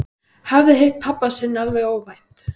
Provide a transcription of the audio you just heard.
Hafði hitt pabba sinn alveg óvænt.